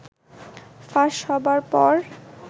ফাঁস হবার পর